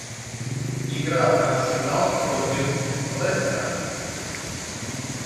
игра арсенал против лестера